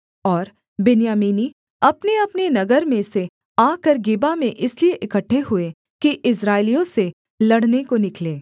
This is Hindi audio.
और बिन्यामीनी अपनेअपने नगर में से आकर गिबा में इसलिए इकट्ठे हुए कि इस्राएलियों से लड़ने को निकलें